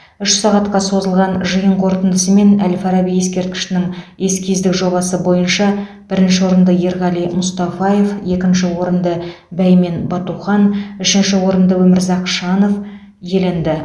үш сағатқа созылған жиын қортындысымен әл фараби ескерткішінің эскиздік жобасы бойынша бірінші орынды ерғали мұстафаев екінші орынды бәймен батухан үшінші орынды өмірзақ шанов иеленді